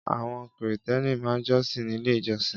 Àwọn krìstẹ́nì ma jọsìn nílé ìjosìn.